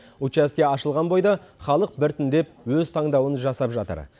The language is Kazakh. учаске ашылған бойда халық біртіндеп өз таңдауын жасап жатыр